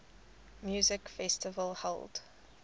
music festival held